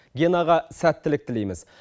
генаға сәттілік тілейміз